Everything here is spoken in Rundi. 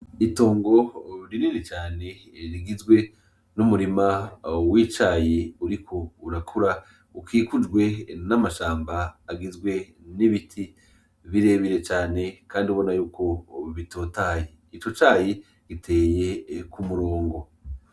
Itongo rinini cane rigizwe n'umurima w'icayi uriko urakura ukikujwe n’amashamba agizwe n'ibiti birebire cane Kandi ubona yuko bitotahaye, ico cayi giteye k'umurongo.